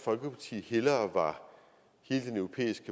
folkeparti hellere